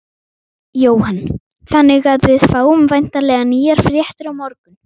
Jóhann: Þannig að við fáum væntanlega nýjar fréttir á morgun?